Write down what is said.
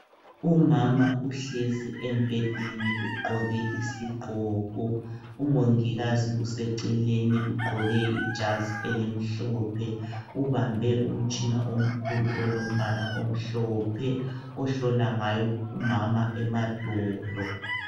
Umama uhlezi embhedeni Ugqoke isigqoko, umongikazi useceleni Ugqoke ijazi elimhlophe, ubambe umtshina omkhulu olombala omhlophe ohlola ngayo umama emadolo.